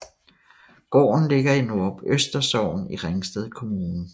Gården ligger i Nordrupøster Sogn i Ringsted Kommune